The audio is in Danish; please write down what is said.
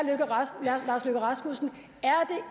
lars løkke rasmussen